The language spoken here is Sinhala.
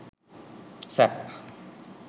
sap